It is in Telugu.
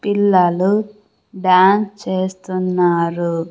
పిల్లలు డాన్స్ చేస్తున్నారు.